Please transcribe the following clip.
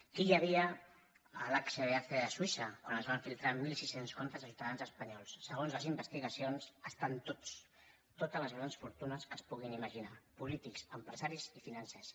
qui hi havia l’hsbc de suïssa quan es van filtrar mil sis cents comptes de ciutadans espanyols segons les investigacions hi ha totes les grans fortunes que es puguin imaginar polítics empresaris i financers